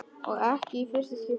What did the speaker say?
Og ekki í fyrsta skipti.